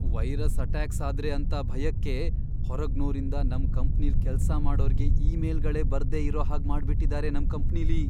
Virus attacks ಆದ್ರೆ ಅಂತ ಭಯಕ್ಕೆ ಹೊರಗ್ನೋರಿಂದ ನಮ್ ಕಂಪ್ನಿಲ್ ಕೆಲ್ಸ ಮಾಡೋರ್ಗೆ ಇಮೇಲ್ಗಳೇ ಬರ್ದೇ ಇರೋ ಹಾಗ್ ಮಾಡ್ಬಿಟಿದಾರೆ ನಮ್ ಕಂಪ್ನಿಲಿ.